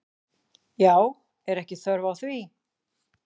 Já, er ekki þörf á því?